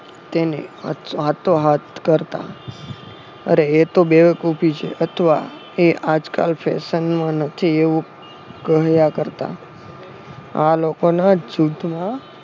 તેને હાથો હાથ કરતા. અરે એતો બેવકુફી છે અથવા એ આજકાલ ફેશનમાં નથી એવું કહ્યા કરતા. આ લોકોના જ જૂથમાં